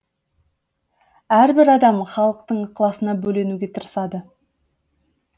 әрбір адам халықтың ықыласына бөленуге тырысады